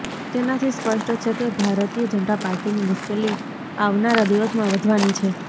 તેનાથી સ્પષ્ટ છે કે ભરતીય જનતા પાર્ટીની મુશ્કેલી આવનારા દિવસમાં વધવાની છે